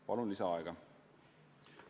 Palun lisaaega!